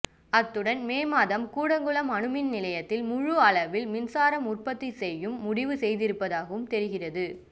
அத்துடன் மே மாதம் கூடங்குளம் அணுமின் நிலையத்தில் முழு அளவில் மின்சாரம் உற்பத்தி செய்யவும் முடிவு செய்திருப்பதாகவும் தெரிகிறது